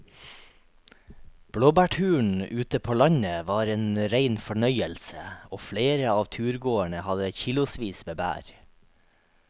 Blåbærturen ute på landet var en rein fornøyelse og flere av turgåerene hadde kilosvis med bær.